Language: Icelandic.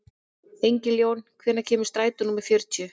Engiljón, hvenær kemur strætó númer fjörutíu?